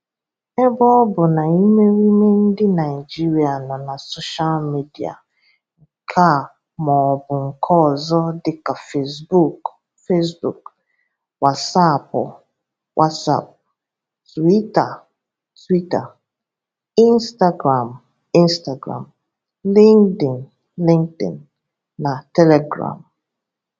Ebe ọ bụ na ịmerịime ndị Naịjiria nọ na soshal media nke a maọbụ nke ọzọ dịka fesbuuku (facebook), wasaapụ (whatsapp), tuwita (twitter), ịnstagram (instagram), lịnkdịn (linkdin), na telegram